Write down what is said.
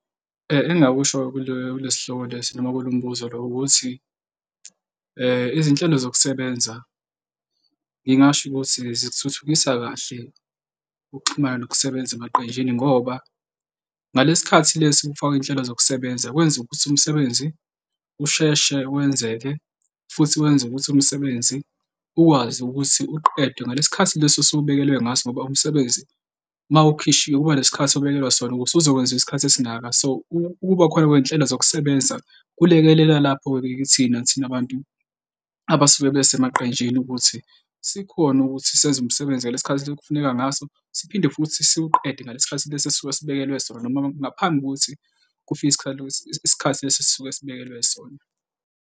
Engingakusho kule, kule sihloko lesi noma kulo mbuzo lo, ukuthi izinhlelo zokusebenza ngingasho ukuthi zikuthuthukisa kahle ukuxhumana nokusebenza emaqenjini ngoba ngalesi khathi lesi kufakwa iy'nhlelo zokusebenza kwenza ukuthi umsebenzi usheshe wenzeke futhi wenze ukuthi umsebenzi ukwazi ukuthi uqedwe ngalesi khathi lesi osuke ubekelwe ngaso ngoba umsebenzi uma ukhishiwe kuba nesikhathi obekelwa sona ukuze uzokwenziwa isikhathi esingaka. So, ukubakhona kwezinhlelo zokusebenza kulekelela lapho-ke kithina thina bantu abasuke besemaqenjini ukuthi sikhone ukuthi senze umsebenzi ngalesi khathi lesi okufuneka ngaso. Siphinde futhi siwuqede ngalesi sikhathi lesi esisuke sibekelwe sona noma ngaphambi kokuthi kufike isikhathi lesi, isikhathi lesi esisuke sibekelwe sona.